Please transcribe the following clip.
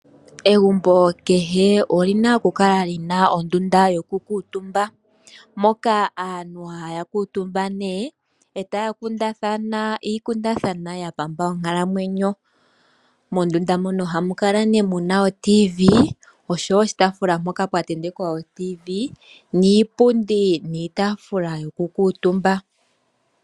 Egumbo kehe olina okukala lina ondunda yoku kuutumba mondunda moka aantu haya kuutumba nee etaya kundathana iikundathanwa ya pamba onkalamwenyo. Mondunda mono ohamu kala nee muna o Radio yomuzizimba oshowo oshitafula mpola pya tentekwa o radio yomuzizimba ,niipundi, niitafula yoku kuutumba.